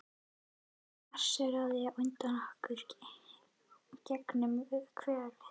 Hann marserar á undan okkur gegnum hverfið.